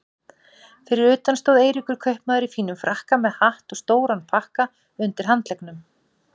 Fyrir utan stóð Eiríkur kaupmaður í fínum frakka með hatt og stóran pakka undir handleggnum.